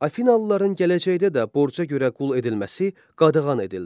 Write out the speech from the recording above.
Afinalıların gələcəkdə də borca görə qul edilməsi qadağan edildi.